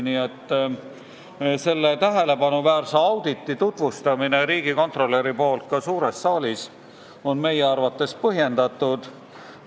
Nii et selle tähelepanuväärse auditi tutvustamine riigikontrolöri poolt ka suures saalis on meie arvates põhjendatud.